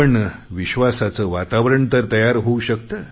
पण विश्वासाचं वातावरण तर तयार करु शकतो